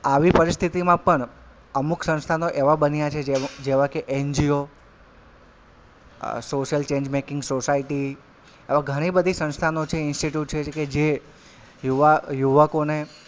આવી પરિસ્થિતિમાં પણ અમુક સંસ્થાનો એવાં બન્યા છે કે જેવા કે NGO અ social change making society એવી ઘણી બધી સંસ્થાનો છે institute છે જે યુવા યુવકોને,